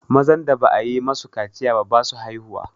mazan da ba a yi masu kaciya ba basu haihuwa